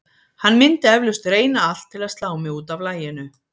Hann myndi eflaust reyna allt til að slá mig út af laginu.